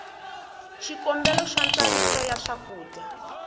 xikombelo xa ntsariso ya swakudya